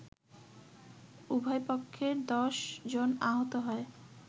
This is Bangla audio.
উভয় পক্ষের ১০ জনআহত হয়